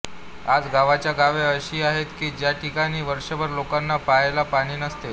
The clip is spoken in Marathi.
आज गावच्या गावे अशी आहेत कि ज्या ठिकाणी वर्षभर लोकांना प्यायला पाणी नसते